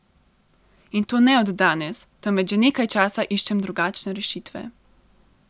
In to ne od danes, temveč že nekaj časa iščem drugačne rešitve.